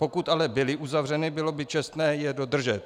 Pokud ale byly uzavřeny, bylo by čestné je dodržet.